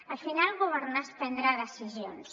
al final governar és prendre decisions